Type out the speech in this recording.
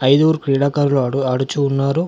ఐదుగురు క్రీడాకారులు ఆడు ఆడుచూ ఉన్నారు.